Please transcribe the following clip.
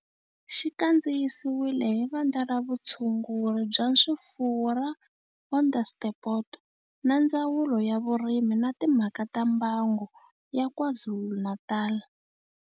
Xi kandziyisiwe hi Vandla ra Vutshunguri bya swifuwo ra Onderstepoort na Ndzawulo ya Vurimi na Timhaka ta Mbango ya KwaZulu-Natal.